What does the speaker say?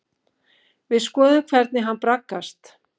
Við skoðum hvernig hann braggast.